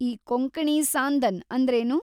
ಈ ಕೊಂಕಣಿ ಸಾಂದನ್ ಅಂದ್ರೇನು?